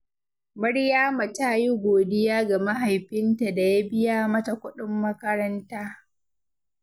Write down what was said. Maryama ta yi godiya ga mahaifinta da ya biya mata kuɗin makaranta.